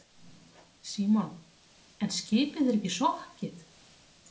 Símon: En skipið er ekki sokkið?